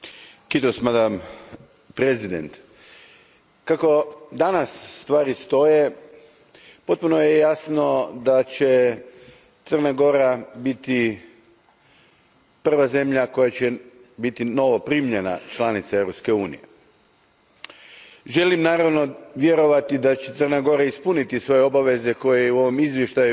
Poštovana predsjedavajuća, kako danas stvari stoje, potpuno je jasno da će Crna Gora biti prva zemlja koja će biti novoprimljena članica Europske unije. Želim, naravno, vjerovati da će Crna Gora ispuniti svoje obaveze, što je u ovom izvještaju